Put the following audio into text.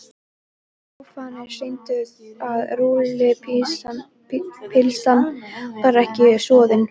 Prófanir sýndu að rúllupylsan var ekki soðin.